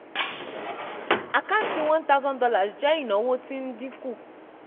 àkáǹtí $1000 jẹ́ ìnáwó tí ń dínkù.